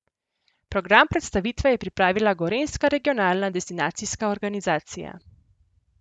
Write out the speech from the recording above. Program predstavitve je pripravila gorenjska regionalna destinacijska organizacija.